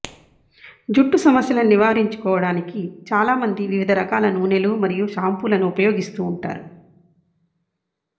జుట్టు సమస్యలను నివారించుకోవడానికి చాలా మంది వివిధ రకాల నూనెలు మరియు షాంపూలను ఉపయోగిస్తుంటారు